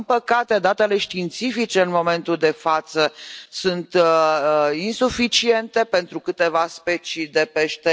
Din păcate, datele științifice în momentul de față sunt insuficiente pentru câteva specii de pește.